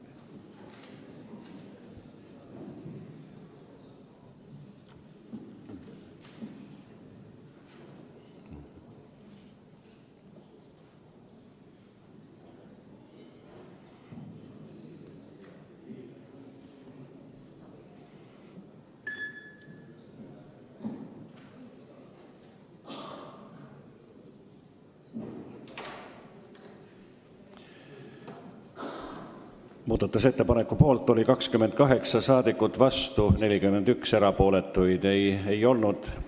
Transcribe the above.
Hääletustulemused Muudatusettepaneku poolt oli 28 rahvasaadikut, vastu 41, erapooletuid ei olnud.